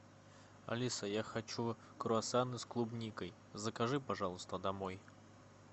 алиса я хочу круассаны с клубникой закажи пожалуйста домой